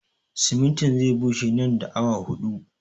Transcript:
Simintin zai bushe nan da awa huɗu